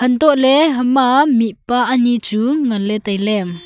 hantoh lah ley mihpa ani chu ngan ley tai ley.